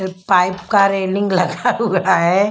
Pipe का railing लगा हुआ है।